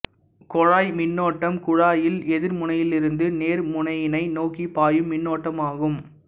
குழாய் மின்னோட்டம் குழாயில் எதிர்முனையிலிருந்து நேர்முனையினை நோக்கிப் பாயும் மின்னோட்டமாகும்